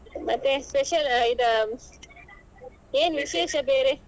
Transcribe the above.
ಮತ್ತೆ special ಇದ್ ಏನ್ ವಿಶೇಷ ಬೇರೆ